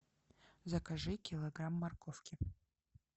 закажи килограмм морковки